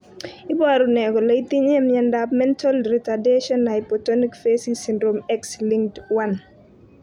Iporu ne kole itinye miondap Mental retardation hypotonic facies syndrome X linked, 1?